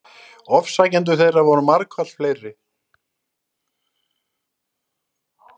Ofsækjendur þeirra voru margfalt fleiri.